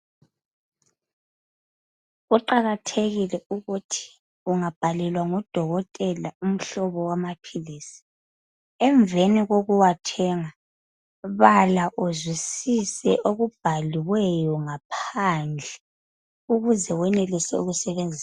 Kuqakathekile ukuthi ungabhalelwa ngudokotela umhlobo wamaphilisi emveni kokuwathenga bala uzwisise okubhaliweyo ngaphandle ukuze wenelise ukusebenzisa.